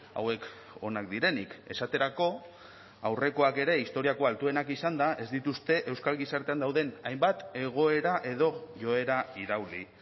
hauek onak direnik esaterako aurrekoak ere historiako altuenak izanda ez dituzte euskal gizartean dauden hainbat egoera edo joera irauli